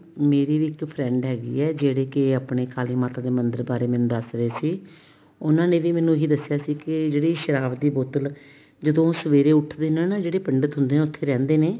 ਮੇਰੀ ਵੀ ਇੱਕ friend ਹੈਗੀ ਏ ਜਿਹੜੀ ਕੀ ਕਾਲੀ ਮਾਤਾ ਮੰਦਿਰ ਬਾਰੇ ਮੈਨੂੰ ਦੱਸ ਰਹੇ ਸੀ ਉਹਨਾ ਨੇ ਵੀ ਮੈਨੂੰ ਇਹੀ ਦੱਸਿਆ ਸੀ ਕੀ ਜਿਹੜੀ ਸ਼ਰਾਬ ਦੀ ਬੋਤਲ ਜਦੋਂ ਉਹ ਸਵੇਰੇ ਉੱਠਦੇ ਨੇ ਜਿਹੜੇ ਪੰਡਿਤ ਹੁੰਦੇ ਨੇ ਉੱਥੇ ਰਹਿੰਦੇ ਨੇ